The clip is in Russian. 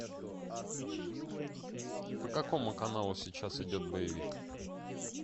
по какому каналу сейчас идет боевик